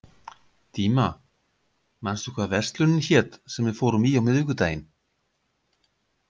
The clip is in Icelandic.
Díma, manstu hvað verslunin hét sem við fórum í á miðvikudaginn?